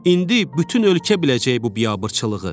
İndi bütün ölkə biləcək bu biabırçılığı.